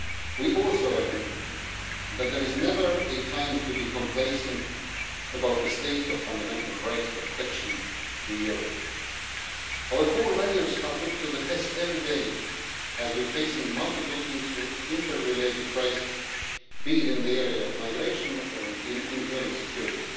We also agree that there is never a time to be complacent about the state of fundamental rights protection in Europe. Our core values are put to the test every day as we are facing multiple interrelated crises, be they in the area of migration or internal security.